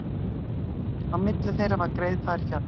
Á milli þeirra var greiðfær fjallvegur.